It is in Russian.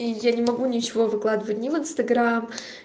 я не могу ничего выкладывать не в инстаграм